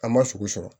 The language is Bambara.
An ma sogo sɔrɔ